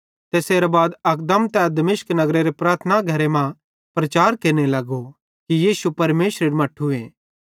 तैसेरां बाद अकदम तै दिमश्क नगरेरे प्रार्थना घरन मां प्रचार केरने लगो कि यीशु परमेशरेरू मट्ठूए